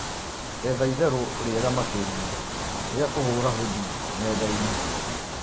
etha ĩtherũ riegaa makĩrĩa ria kuhura hodi nendaini